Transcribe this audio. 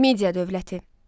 Midia dövləti.